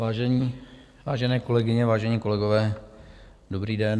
Vážené kolegyně, vážení kolegové, dobrý den.